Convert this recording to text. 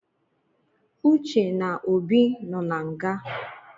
Uce na Obi nọ na nga